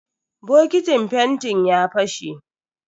Bokitin fentin ya fashe.